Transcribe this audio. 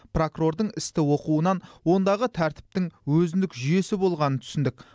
прокурордың істі оқуынан ондағы тәртіптің өзіндік жүйесі болғанын түсіндік